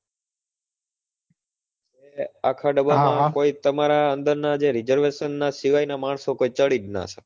એ આખા ડબ્બા માં કોઈ તમારા અંદર ના જે resevation ના સિવાય ના માણસો કોઈ ચડી જ ના શકે